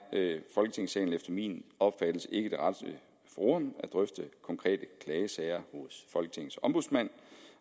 folketingssalen efter min opfattelse ikke det rette forum at drøfte konkrete klagesager hos folketingets ombudsmand